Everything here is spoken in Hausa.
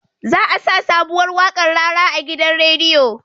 Za a sa sabuwar waƙar rara a gidan radio